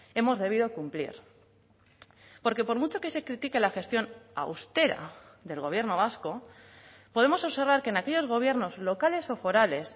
hemos debido cumplir porque por mucho que se critique la gestión austera del gobierno vasco podemos observar que en aquellos gobiernos locales o forales